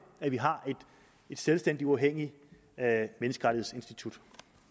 at vi har et selvstændigt og uafhængigt menneskerettighedsinstitut